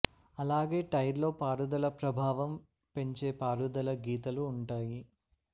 అలాగే టైర్ లో పారుదల ప్రభావం పెంచే పారుదల గీతలు ఉంటాయి